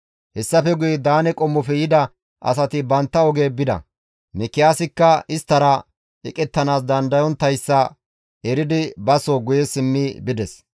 Hessafe guye Daane qommofe yida asati bantta oge bida. Mikiyaasikka isttara eqettanaas dandayonttayssa eridi ba soo guye simmi bides.